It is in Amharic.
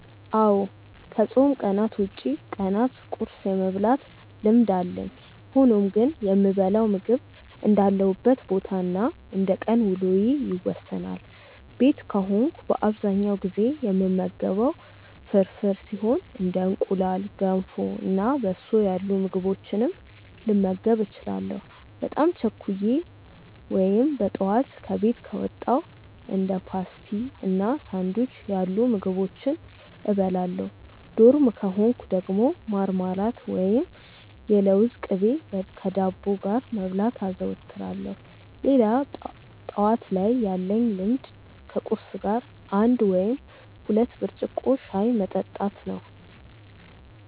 አዎ ከፆም ቀናት ውጪ ቀናት ቁርስ የመብላት ልምድ አለኝ። ሆኖም ግን የምበላው ምግብ እንዳለሁበት ቦታ እና እንደቀን ውሎዬ ይወሰናል። ቤት ከሆንኩ በአብዛኛው ጊዜ የምመገበው ፍርፍር ሲሆን እንደ እንቁላል፣ ገንፎ እና በሶ ያሉ ምግቦችንም ልመገብ እችላለሁ። በጣም ቸኩዬ ወይም በጠዋት ከቤት ከወጣው እንደ ፓስቲ እና ሳንዱች ያሉ ምግቦችን እበላለሁ። ዶርም ከሆንኩ ደግሞ ማርማላት ወይም የለውዝ ቅቤ ከዳቦ ጋር መብላት አዘወትራለሁ። ሌላ ጠዋት ላይ ያለኝ ልምድ ከቁርስ ጋር አንድ ወይም ሁለት ብርጭቆ ሻይ መጠጣት ነው።